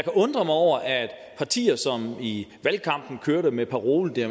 undre mig over at partier som i valgkampen kørte med parolen at